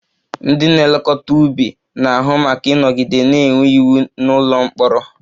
Ndị na-elekọta ubi na-ahụ maka ịnọgide na-enwe iwu n'ụlọ mkpọrọ